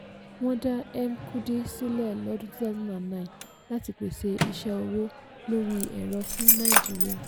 wọ́n dá mkudi sílẹ̀ lọ́dún two thousand and nine láti pèsè iṣẹ́ owó lórí ẹ̀rọ fún naijiría.